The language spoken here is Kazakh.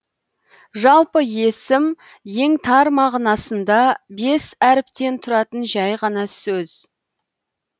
жалпы есім ең тар мағынасында бес әріптен тұратын жай ғана сөз